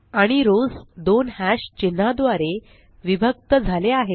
आणि रोस दोन हॅश चिन्हा द्वारे विभक्त झाले आहेत